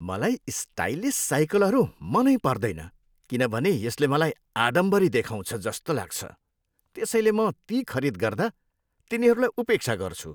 मलाई स्टाइलिस साइकलहरू मनै पर्दैन किनभने यसले मलाई आडम्बरी देखाउँछ जस्तो लाग्छ, त्यसैले म ती खरीद गर्दा तिनीहरूलाई उपेक्षा गर्छु।